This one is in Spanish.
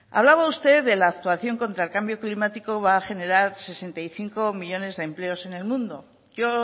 hablaba usted de la actuación contra el cambio climático va a generar sesenta y cinco millónes de empleo en el mundo yo